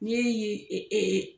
Ni e ye